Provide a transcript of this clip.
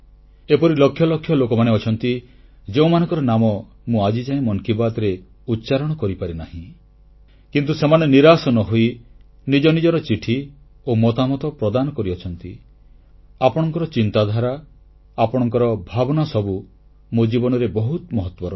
ଏପରି ଲକ୍ଷ ଲକ୍ଷ ଲୋକ ଅଛନ୍ତି ଯେଉଁମାନଙ୍କର ନାମ ମୁଁ ଆଜିଯାଏ ମନ କି ବାତ୍ରେ ଉଚ୍ଚାରଣ କରିପାରିନାହିଁ କିନ୍ତୁ ସେମାନେ ନିରାଶ ନ ହୋଇ ନିଜ ନିଜର ଚିଠି ଓ ମତାମତ ପ୍ରଦାନ କରିଆସିଛନ୍ତି ଆପଣଙ୍କର ଚିନ୍ତାଧାରା ଆପଣଙ୍କର ଭାବନା ସବୁ ମୋ ଜୀବନରେ ବହୁତ ମହତ୍ୱ ରଖେ